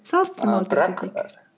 салыстырмалы